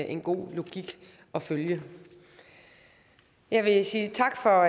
en god logik at følge jeg vil sige tak for